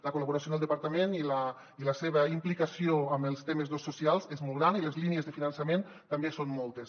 la col·laboració en el departament i la seva implicació amb els temes socials és molt gran i les línies de finançament també són moltes